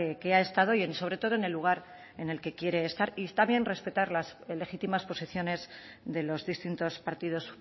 que ha estado y sobre todo en el lugar en el que quiere estar y está bien respetar las legítimas posiciones de los distintos partidos